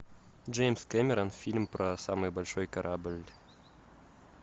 джеймс кэмерон фильм про самый большой корабль